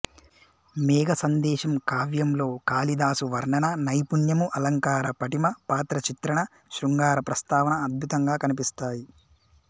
మేఘ సందేశం కావ్యంలో కాళిదాసు వర్ణనా నైపుణ్యము అలంకార పటిమ పాత్ర చిత్రణ శృంగార ప్రస్తావన అద్భుతంగా కనిపిస్తాయి